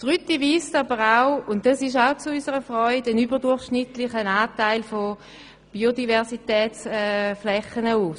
Die Rütti weist zu unserer Freude einen überdurchschnittlichen Anteil an Biodiversitätsflächen auf.